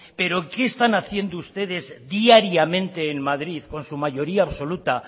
pero qué están haciendo ustedes diariamente en madrid con su mayoría absoluta